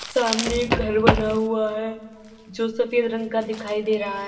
सामने घर बना हुआ है जो सफेद रंग का दिखाई दे रहा है।